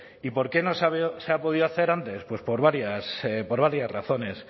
y por qué no se ha podido hacer antes pues por varias razones